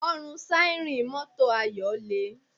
Ọrùn síárìn mọ́tò Ayọ̀ le